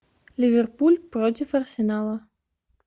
ливерпуль против арсенала